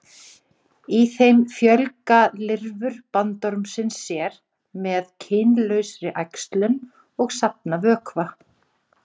Í þeim fjölga lirfur bandormsins sér með kynlausri æxlun og safna vökva.